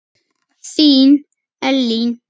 Þín, Elín.